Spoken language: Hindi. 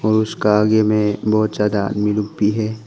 और उसका आगे में बहुत ज्यादा आदमी लोग भी है।